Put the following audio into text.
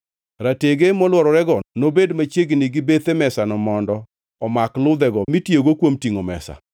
Ratege molwororego nobed machiegni gi bethe mesano mondo omak ludhego mitiyogo kuom tingʼo mesa.